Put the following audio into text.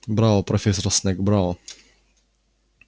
браво профессор снегг браво